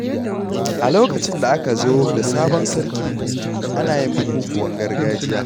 A lokacin da aka zo da sabon sarki, ana yin bukukuwan gargajiya.